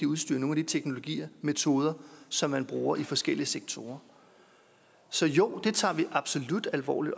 udstyr nogle af de teknologier og metoder som man bruger i forskellige sektorer så jo det tager vi absolut alvorligt